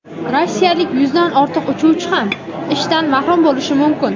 Rossiyalik yuzdan ortiq uchuvchi ham ishdan mahrum bo‘lishi mumkin.